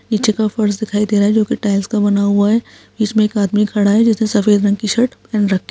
नीचे के फ़र्श दिखाई दे रहा है जो की टाइल्स का बना हुआ है इसमें के आदमी खड़ा है जो जिसने सफ़ेद रंग की शर्ट पेहन रख --